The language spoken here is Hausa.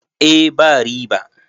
eh ba riba